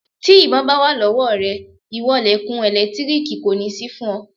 Tí ìbọn bá wà lọ́wọ́ rẹ ìwọ lẹ̀kùn ẹ̀lẹ́tíríìkì kò ní sí fún ọ.